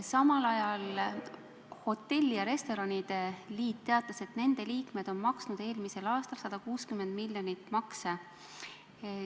Samal ajal Eesti Hotellide ja Restoranide Liit teatas, et nende liikmed on eelmisel aastal maksnud 160 miljonit makse.